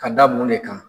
Ka da mun de kan